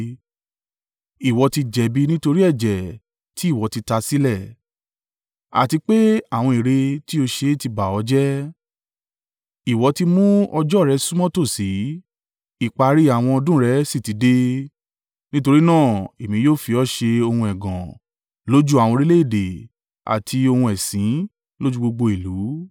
Ìwọ ti jẹ̀bi nítorí ẹ̀jẹ̀ tí ìwọ ti ta sílẹ̀, àti pé àwọn ère tí ó ṣe tí bà ọ́ jẹ́. Ìwọ tí mú ọjọ́ rẹ súnmọ́ tòsí, ìparí àwọn ọdún rẹ sì ti dé. Nítorí náà èmi yóò fi ọ ṣe ohun ẹ̀gàn lójú àwọn orílẹ̀-èdè àti ohun ẹ̀sín lójú gbogbo ìlú.